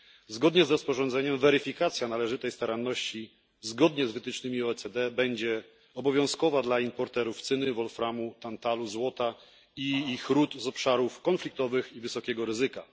Zgodnie z rozporządzeniem weryfikacja należytej staranności zgodnie z wytycznymi OECD będzie obowiązkowa dla importerów cyny, wolframu, tantalu, złota i ich rud z obszarów konfliktowych i wysokiego ryzyka.